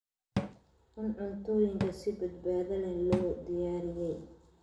Cun cuntooyinka si badbaado leh loo diyaariyey.